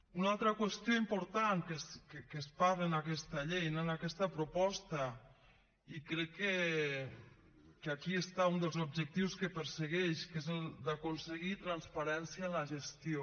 una altra qüestió important que es parla en aquesta llei en aquesta proposta i crec que aquí està un dels objectius que persegueix que és el d’aconseguir transparència en la gestió